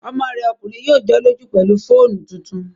Ọmọ rẹ̀ ọkùnrin yóò jọ́lọ́jú pẹ̀lú fóònù tuntun